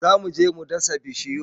Zo mu je mu dasa bishiyun